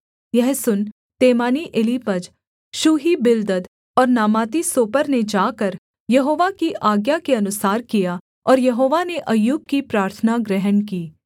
यह सुन तेमानी एलीपज शूही बिल्दद और नामाती सोपर ने जाकर यहोवा की आज्ञा के अनुसार किया और यहोवा ने अय्यूब की प्रार्थना ग्रहण की